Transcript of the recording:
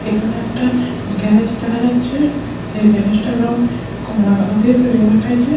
এখানে একটা গ্যারেজ দেখা যাচ্ছে যেই গ্যারেজটার রং কমলা কালার দিয়ে তৈরি করা হয়েছে।